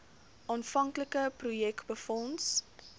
aanvanklike projek befonds